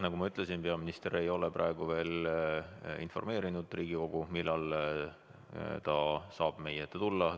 Nagu ma ütlesin, peaminister ei ole praegu veel informeerinud Riigikogu, millal ta saab meie ette tulla.